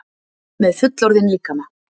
Með fullorðinn líkama.